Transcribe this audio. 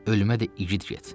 Ölümə də igid get.